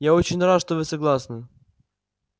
я очень рад что вы согласны